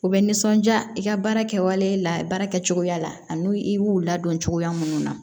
U bɛ nisɔndiya i ka baara kɛwalen la baara kɛcogoya la ani i b'u ladon cogoya minnu na